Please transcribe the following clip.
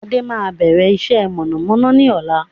Adé máa bẹ̀rẹ̀ iṣẹ́ mọ̀nàmọ́ná ni ọ̀la